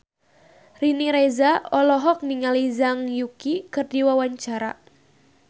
Riri Reza olohok ningali Zhang Yuqi keur diwawancara